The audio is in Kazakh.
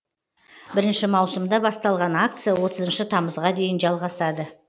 бірінші маусымда басталған акция отызыншы тамызға дейін жалғасады